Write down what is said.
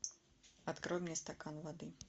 открой мне стакан воды